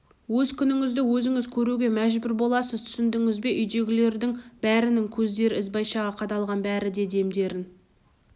өз күніңізді өзіңіз көруге мәжбүр боласыз түсіндіңіз бе үйдегілердің бәрінің көздері ізбайшаға қадалған бәрі де демдерін